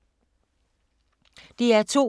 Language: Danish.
DR2